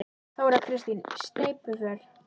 Þóra Kristín: Sneypuför?